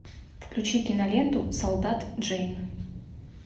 включи киноленту солдат джейн